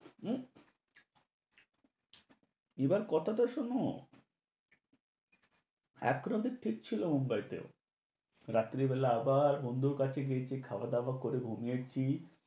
হু? এবার কথা তো শুনো। একরাতে ঠিক ছিলো মুম্বাইতে, রাত্রি বেলা আবার বন্ধুর কাছে গিয়েছি, খাওয়া-দাওয়া করে ঘুমিয়েছি।